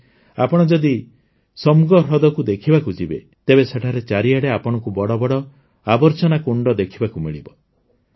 ଆଜି ଆପଣ ଯଦି ସୋମ୍ଗୋ ହ୍ରଦକୁ ଦେଖିବାକୁ ଯିବେ ତେବେ ସେଠାରେ ଚାରିଆଡ଼େ ଆପଣଙ୍କୁ ବଡ଼ ବଡ଼ ଆବର୍ଜନାକୁଣ୍ଡ ଦେଖିବାକୁ ମିଳିବ